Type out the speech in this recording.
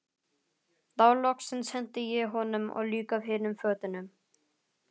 Þá loksins henti ég honum og líka hinum fötunum.